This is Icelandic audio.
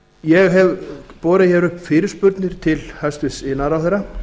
ég hef borið upp fyrirspurnir til hæstvirts iðnaðarráðherra